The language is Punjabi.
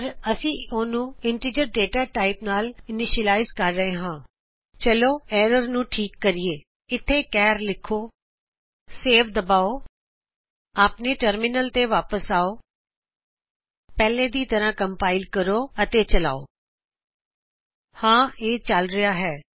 ਪਰ ਅਸੀਂ ਓਹਨੂ ਇੰਟੀਜਰ ਡਾਟਾ ਟਾਇਪ ਨਾਲ ਇਨੀਸ਼ਅਲਾਇਜ਼ ਕਰ ਰਹੇ ਹਾ ਚਲੋ ਐਰਰ ਨੂੰ ਠੀਕ ਕਰੀਏ ਇਥੇ ਚਾਰ ਲਿਖੋ ਸੇਵ ਦਬਾਓ ਆਪਣੇ ਟਰਮਿਨਲ ਤੇ ਵਾਪਿਸ ਆਓ ਪਹਿਲੇ ਦੀ ਤਰ੍ਹਾ ਕੰਪਾਇਲ ਕਰੋ ਅਤੇ ਚਲਾਓ ਹਾਂ ਇਹ ਚਲ ਰਿਹਾ ਹੈ